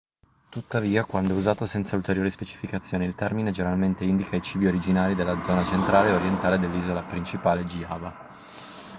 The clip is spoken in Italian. tuttavia quando è usato senza ulteriori specificazioni il termine generalmente indica i cibi originari della zona centrale e orientale dell'isola principale giava